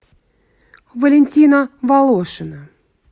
валентина волошина